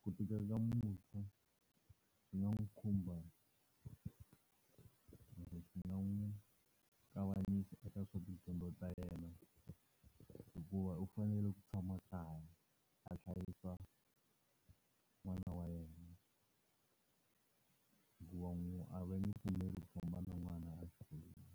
Ku tika ka muntshwa swi nga n'wi khumba kumbe swi nga n'wi kavanyisa eka swa tidyondzo ta yena hikuva u fanele ku tshama kaya a hlayisa ku n'wana wa yena. Hikuva a va nge pfumeli ku famba na n'wana axikolweni.